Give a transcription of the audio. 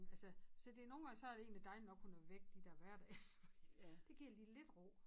Altså så det nogen gange så det egentlig dejligt nok hun er væk de dér hverdage fordi det det giver lige lidt ro